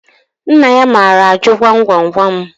Nna ya maara ajụ gwam gwam gwam